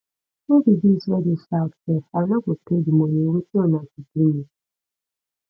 who be dis wey dey shout sef i no go pay the money wetin una go do me